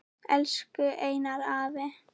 Elsku Einar afi.